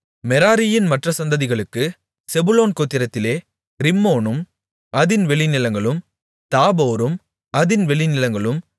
மெராரியின் மற்ற சந்ததிகளுக்கு செபுலோன் கோத்திரத்திலே ரிம்மோனும் அதின் வெளிநிலங்களும் தாபோரும் அதின் வெளிநிலங்களும்